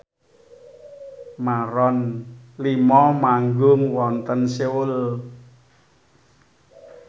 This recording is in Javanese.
Maroon 5 manggung wonten Seoul